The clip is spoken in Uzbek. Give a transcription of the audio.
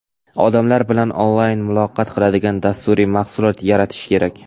odamlar bilan onlayn muloqot qiladigan dasturiy mahsulot yaratish kerak.